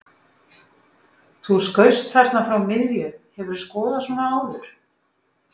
Þú skaust þarna frá miðju, hefurðu skorað svona áður?